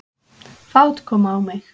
Fát kom á mig.